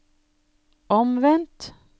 omvendt